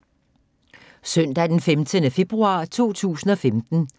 Søndag d. 15. februar 2015